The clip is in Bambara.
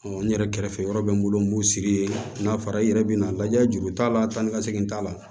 n yɛrɛ kɛrɛfɛ yɔrɔ bɛ n bolo n b'u sigi yen n'a fɔra i yɛrɛ bɛ na lajɛ juru t'a la tan ni ka segin t'a la